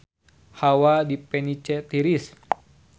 Hawa di Venice tiris